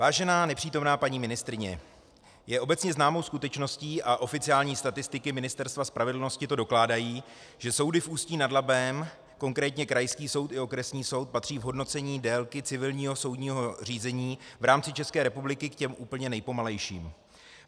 Vážená nepřítomná paní ministryně, je obecně známou skutečností a oficiální statistiky Ministerstva spravedlnosti to dokládají, že soudy v Ústí nad Labem, konkrétně krajský soud i okresní soud, patří v hodnocení délky civilního soudního řízení v rámci České republiky k těm úplně nejpomalejším.